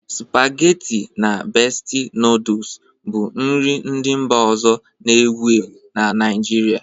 Supageti na Besti nọdụs bụ nri ndị mba ọzọ na-ewu ewu na Naịjirịa.